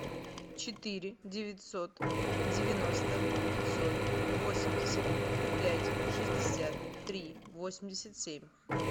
четыре девятьсот девяносто пятьсот восемьдесят пять шестьдесят три восемьдесят семь